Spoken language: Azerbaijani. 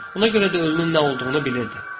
Ona görə də ölümün nə olduğunu bilirdi.